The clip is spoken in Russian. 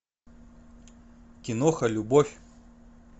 киноха любовь